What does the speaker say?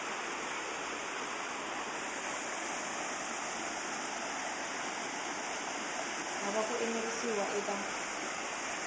hava ku enerisiwa ehenhla ka